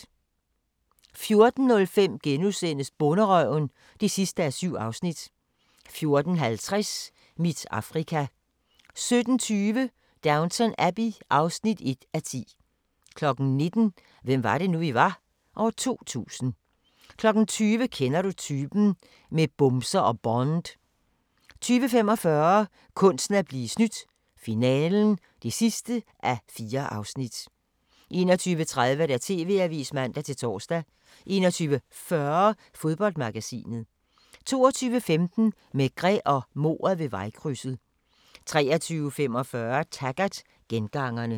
14:05: Bonderøven (7:7)* 14:50: Mit Afrika 17:20: Downton Abbey (1:10) 19:00: Hvem var det nu, vi var? - 2000 20:00: Kender du typen? - med bumser og Bond 20:45: Kunsten at blive snydt - finalen (4:4) 21:30: TV-avisen (man-tor) 21:40: Fodboldmagasinet 22:15: Maigret og mordet ved vejkrydset 23:45: Taggart: Gengangerne